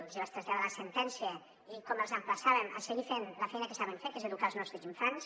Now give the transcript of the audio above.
els hi vaig traslladar la sentència i com els emplaçàvem a seguir fent la feina que saben fer que és educar els nostres infants